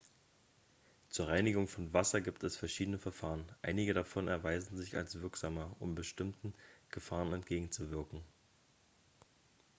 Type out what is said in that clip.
zur reinigung von wasser gibt es verschiedene verfahren einige davon erweisen sich als wirksamer um bestimmten gefahren entgegenzuwirken